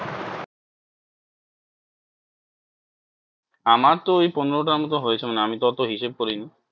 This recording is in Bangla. আমার তো ওই পনেরো টার মতো হয়েছে মনে হয় আমি তো অত হিসেব করিনি।